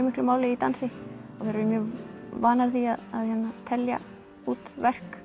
miklu máli í dansi þær eru vanar því að telja út verk